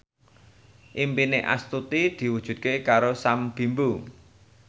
impine Astuti diwujudke karo Sam Bimbo